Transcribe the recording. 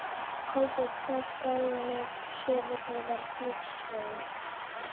Kolbeinsá, Skálanef, Suðurheiðar, Klifskógur